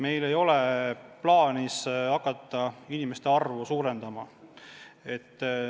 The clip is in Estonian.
Meil ei ole plaanis hakata inimeste arvu suurendama.